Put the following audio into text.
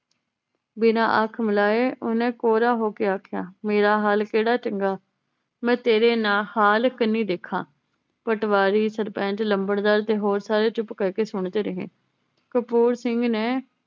ਬਿਨਾ ਅੱਖ ਮਿਲਾਏ ਓਹਨੇ ਕੋਰਾ ਹੋ ਕੇ ਆਖਿਆ ਮੇਰਾ ਹਾਲ ਕੇਹੜਾ ਚੰਗਾ ਮੈ ਤੇਰੇ ਨਾ ਹਾਲ ਕੰਨੀ ਦੇਖਾਂ ਪਟਵਾਰੀ ਸਰਪੰਚ ਲੰਬੜਦਾਰ ਤੇ ਹੋਰ ਸਾਰੇ ਚੁੱਪ ਕਰਕੇ ਸੁਣਦੇ ਰਹੇ ਕਪੂਰ ਸਿੰਘ ਨੇ